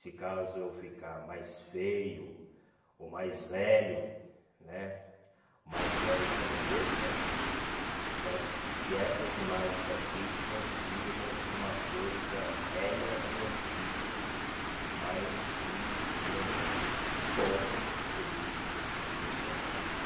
Se caso eu ficar mais feio, ou mais velho né, mais velho e mais gordo né, certo, que essas imagens aqui não sirvam de uma coisa velha e antiga, mas de um momento bom, feliz e descontrativo.